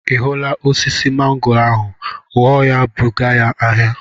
Ị hụla osisi mangoo ahụ? Ghọọ ya buga ya ahịa!